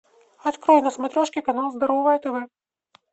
открой на смотрешке канал здоровое тв